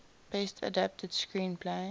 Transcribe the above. best adapted screenplay